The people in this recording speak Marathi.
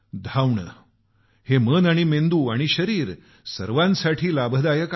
धावणं मन मेंदू आणि शरीर सर्वांसाठी लाभदायक आहे